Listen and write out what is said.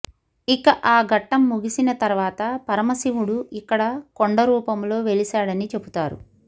ఇక ఆ ఘట్టం ముగిసిన తర్వాత పరమశివుడు ఇక్కడ కొండరూపంలో వెలిశాడని చెబుతారు